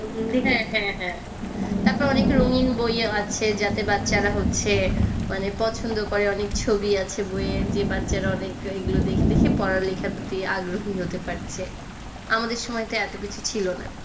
হ্যাঁ হ্যাঁ হ্যাঁ। তারপর অনেক রঙ্গিন বইও আছে যাতে বাচ্চারা হচ্ছে মানে পছন্দ করে। অনেক ছবি আছে বইয়ে, যে বাচ্চারা অনেক এগুলো দেখে দেখে পড়া লেখার প্রতি আগ্রহী হতে পারছে। আমাদের সময়ে তো এত কিছু ছিল না।